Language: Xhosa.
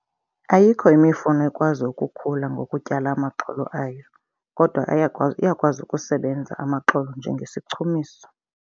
Ayikho imifuno ekwazi ukukhula ngokutyala amaxolo ayo kodwa ayakwazi, iyakwazi ukusebenza amaxolo njengesichumiso.